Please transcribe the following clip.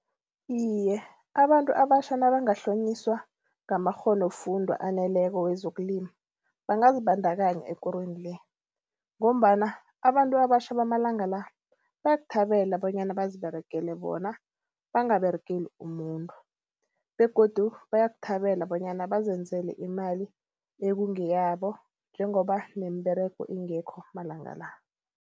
Iye, abantu abatjha nabangahlonyiswa ngamakghonofundwa aneleko wezokulima. Bangazibandakanya ekorweni le ngombana abantu abatjha bamalanga la bayakuthabele bonyana baziberegele bona bangaberegeli umuntu begodu bayakuthabela bonyana bazenzela imali ekungeyabo njengoba nemiberego ingekho malanga la.